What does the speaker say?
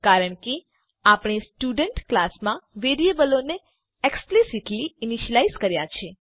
કારણ કે આપણે સ્ટુડન્ટ ક્લાસમાં વેરીએબલોને એક્સ્પ્લીસીટલી ઈનીશ્યલાઈઝ કર્યા છે